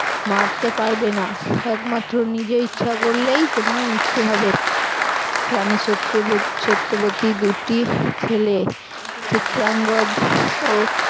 মারতে পারবে না একমাত্র নিজে ইচ্ছা করলেই তোমার মৃত্যু হবে । রানী সত্যবত~ সত্যবতীর দুটি ছেলে চিত্রাঙ্গজ ও